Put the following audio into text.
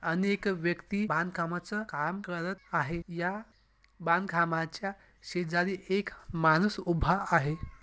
आणि एक व्यक्ति बांध कामच काम करत आहे या बांध कामाच्या शेजारी एक माणूस उभा आहे.